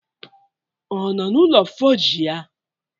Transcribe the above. Ọ nọ n'ụlọ fọji ya?